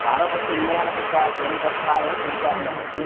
வர்ற bus உண்மையான bus அஹ பேய் bus னு தெரியாது நமக்கு